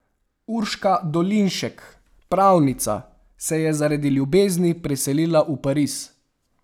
Urška Dolinšek, pravnica, se je zaradi ljubezni preselila v Pariz.